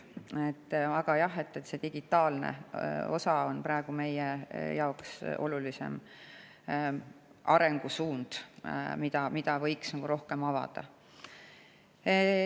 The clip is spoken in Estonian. Aga jah, see digitaalne osa on praegu meie jaoks olulisem arengusuund, mida võiks rohkem avada.